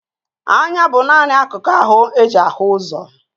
Eye is the only sight organ